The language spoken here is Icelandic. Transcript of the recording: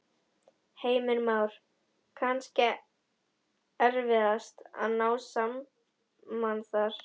Heimir Már: Kannski erfiðast að ná saman þar?